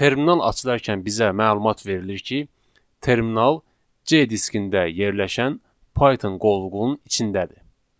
Terminal açılarkən bizə məlumat verilir ki, terminal C diskində yerləşən Python qovluğunun içindədir.